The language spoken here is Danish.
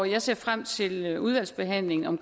jeg ser frem til udvalgsbehandlingen om